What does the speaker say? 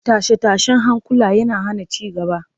Tashe-tashen hankula yana hana ci gaba